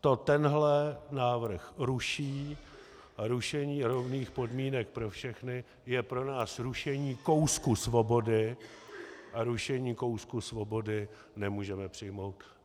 To tenhle návrh ruší a rušení rovných podmínek pro všechny je pro nás rušení kousku svobody a rušení kousku svobody nemůžeme přijmout.